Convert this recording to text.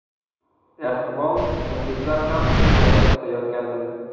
Ehtimol, muxlislar ham jangni kutayotgandir.